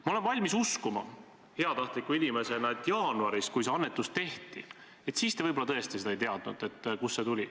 Ma olen valmis uskuma – heatahtliku inimesena –, et jaanuaris, kui see annetus tehti, siis te võib-olla tõesti ei teadnud, kust see tuli.